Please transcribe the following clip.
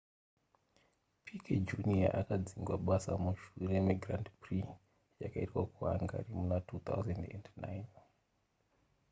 piquet jr akadzingwa basa mushure megrand prix yakaitwa kuhungary muna 2009